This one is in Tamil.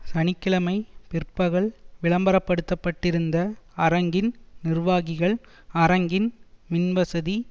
சனி கிழமை பிற்பகல் விளம்பரப்படுத்தப்பட்டிருந்த அரங்கின் நிர்வாகிகள் அரங்கின் மின்வசதி